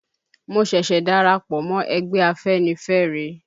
Mo ṣẹ̀ṣẹ̀ darapọ̀ mọ́ ẹgbẹ́ Afẹ́nifẹ́re